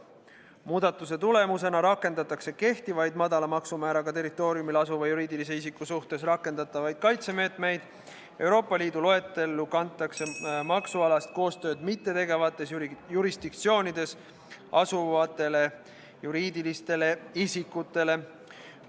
Muudatuse tulemusena rakendatakse kehtivaid madala maksumääraga territooriumil asuva juriidilise isiku suhtes rakendatavaid kaitsemeetmeid Euroopa Liidu loetellu kantud maksualast koostööd mittetegevates jurisdiktsioonides asuvatele juriidilistele isikutele.